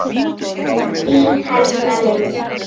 Þín, Helga Lind.